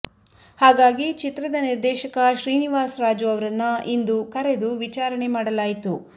ಹಾಗಾಗಿ ಚಿತ್ರದ ನಿರ್ದೇಶಕ ಶ್ರೀನಿವಾಸ್ ರಾಜು ಅವ್ರನ್ನ ಇಂದು ಕರೆದು ವಿಚಾರಣೆ ಮಾಡಲಾಯಿತು